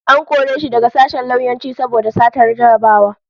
An kore shi daga sashen lauyanci saboda satar jarrabawa